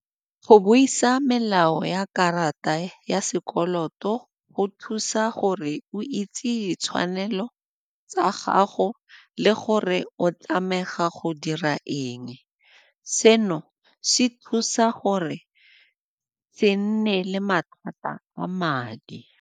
Go buisa melao ya karata ya sekoloto go thusa gore o itse ditshwanelo tsa gago le gore o tlameha go dira eng. Seno se thusa gore se nne le mathata a madi.